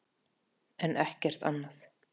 en ekkert annað.